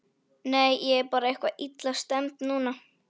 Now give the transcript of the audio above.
Nei, ég er bara eitthvað illa stemmd núna.